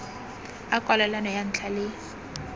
a kwalelano ya ntlha le